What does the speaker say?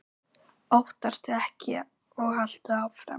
Óttastu ekki og haltu áfram!